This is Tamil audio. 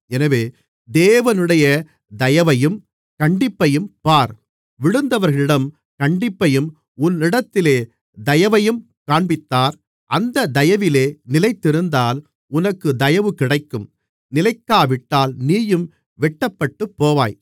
எனவே தேவனுடைய தயவையும் கண்டிப்பையும் பார் விழுந்தவர்களிடம் கண்டிப்பையும் உன்னிடத்தில் தயவையும் காண்பித்தார் அந்தத் தயவிலே நிலைத்திருந்தால் உனக்குத் தயவு கிடைக்கும் நிலைக்காவிட்டால் நீயும் வெட்டப்பட்டுப் போவாய்